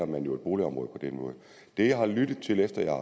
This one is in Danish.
man jo et boligområde det jeg har lyttet til efter jeg